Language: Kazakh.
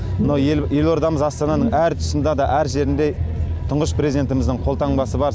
мына елордамыз астананың әр тұсында да әр жерінде тұңғыш президентіміздің қолтаңбасы бар